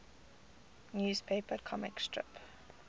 newspaper comic strip